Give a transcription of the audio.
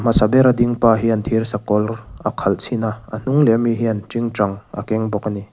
a hmasa ber a ding pa hian thirsakawr a khalh chhin a a hnung leh ami hian tingtang a keng bawk ani.